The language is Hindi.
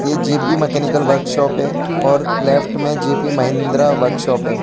ये जेपी मैकेनिकल वर्कशॉप है और लेफ्ट में जीपी महिंद्रा वर्कशॉप है।